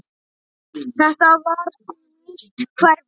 Þetta var því nýtt hverfi.